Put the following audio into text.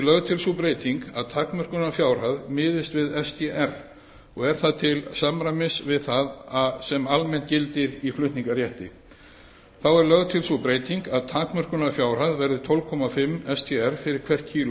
lögð til sú breyting að takmörkunarfjárhæð miðist við sdr og er það til samræmis við það sem almennt gildir í flutningarétti þá er lögð til sú breyting að takmörkunarfjárhæð verði tólf og hálft sdr fyrir hvert kíló